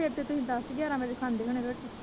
ਫਿਰ ਤੇ ਤੁਸੀ ਦਸ ਗਿਆਰਾਂ ਵਜੇ ਖਾਂਦੇ ਹੋਣੇ ਰੋਟੀ।